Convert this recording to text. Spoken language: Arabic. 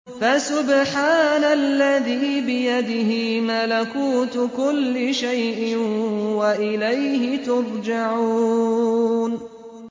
فَسُبْحَانَ الَّذِي بِيَدِهِ مَلَكُوتُ كُلِّ شَيْءٍ وَإِلَيْهِ تُرْجَعُونَ